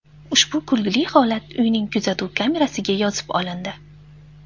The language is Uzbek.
Ushbu kulgili holat uyning kuzatuv kamerasiga yozib olindi.